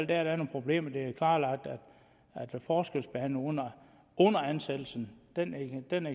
der er nogle problemer det er klarlagt at forskelsbehandling under ansættelsen